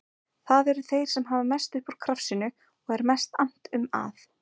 Það eru þeir sem hafa mest upp úr krafsinu og er mest annt um að